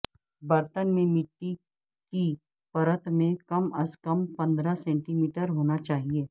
برتن میں مٹی کی پرت میں کم از کم پندرہ سینٹی میٹر ہونا چاہئے